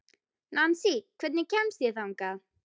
Nansý, hvernig kemst ég þangað?